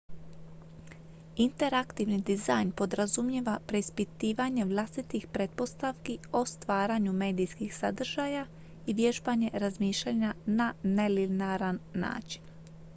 interaktivni dizajn podrazumijeva preispitivanje vlastitih pretpostavki o stvaranju medijskih sadržaja i vježbanje razmišljanja na nelinearan način